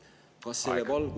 Aeg!